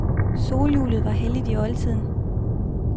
Solhjulet var helligt i oldtiden.